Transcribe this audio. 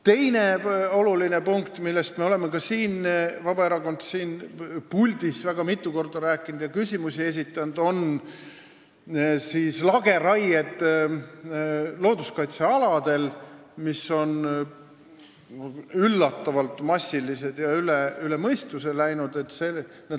Teine oluline punkt, millest me Vabaerakonnana oleme ka siin puldis väga mitu korda rääkinud ja mille kohta küsimusi esitanud, on looduskaitsealadel tehtavad lageraied, mis on üllatavalt massilised ja üle mõistuse läinud.